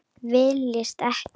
Villist ekki!